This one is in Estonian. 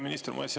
Hea minister!